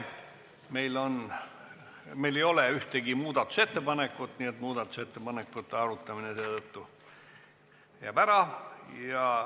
Meil ei ole ühtegi muudatusettepanekut, nii et muudatusettepanekute arutamine jääb ära.